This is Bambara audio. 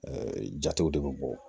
jatew de bɛ bɔ